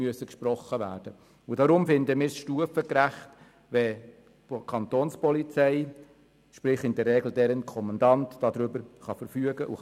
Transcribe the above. Deshalb empfinden wir es als stufengerecht, wenn die Kapo, respektive in der Regel deren Kommandant, darüber befinden kann.